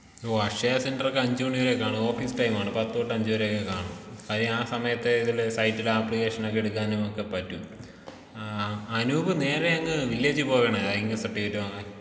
ഓ അക്ഷയ സെന്ററൊക്കെ അഞ്ചുമണി വരെ കാണൂ ഓഫീസ് ടൈം ആണ് പത്ത് തൊട്ട് അഞ്ച് വരെയൊക്കെ കാണൂ കാര്യം ആ സമയത്തേ ഏതെങ്കിലൊരു സൈറ്റിലോ അപ്ലിക്കേഷനൊക്കെ എടുക്കാൻ നമുക്ക് പറ്റും ആ അനൂപ് നേരെ അങ്ങ് വില്ലേജ് പോവാണോ ഇൻകം സർട്ടിഫിക്കറ്റ് വാങ്ങാൻ.